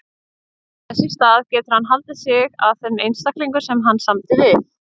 Þess í stað getur hann haldið sig að þeim einstaklingum sem hann samdi við.